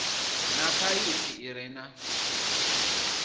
na phaiphi i re na